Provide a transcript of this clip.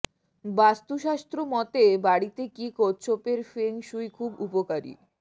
বাস্তুশাস্ত্র মতে বাড়িতে কি কচ্ছপের ফেং শুই খুব উপকারী